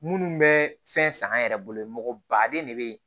Minnu bɛ fɛn san an yɛrɛ bolo baden de bɛ